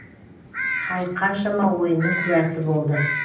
халық қаншама ойынның куәсі болды